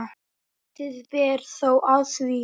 Lítið ber þó á því.